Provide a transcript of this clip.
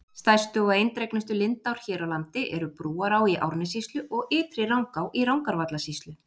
Stærstu og eindregnustu lindár hér á landi eru Brúará í Árnessýslu og Ytri-Rangá í Rangárvallasýslu.